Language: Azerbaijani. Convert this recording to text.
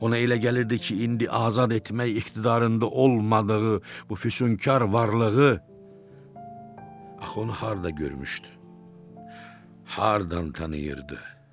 Ona elə gəlirdi ki, indi azad etmək iqtidarında olmadığı bu füsunkar varlığı axı onu harda görmüşdü, hardan tanıyırdı?